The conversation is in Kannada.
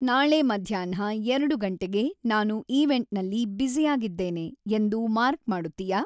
ನಾಳೆ ಮಧ್ಯಾಹ್ನ ಎರಡು ಗಂಟೆಗೆ ನಾನು ಈವೆಂಟ್‌ನಲ್ಲಿ ಬ್ಯುಸಿಯಾಗಿದ್ದೇನೆ ಎಂದು ಮಾರ್ಕ್ ಮಾಡುತ್ತೀಯಾ